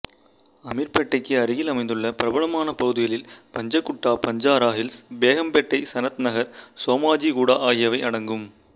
அமீர்பேட்டைக்கு அருகில் அமைந்துள்ள பிரபலமான பகுதிகளில் பஞ்சகுட்டா பஞ்சாரா ஹில்ஸ் பேகம்பேட்டை சனத் நகர் சோமாஜிகுடா ஆகியவை அடங்கும்